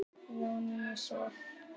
Jónína Sif.